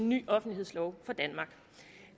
ny offentlighedslov for danmark